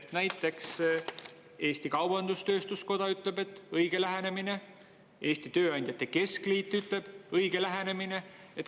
Näiteks Eesti Kaubandus-Tööstuskoda ütleb, et õige lähenemine, Eesti Tööandjate Keskliit ütleb, et õige lähenemine.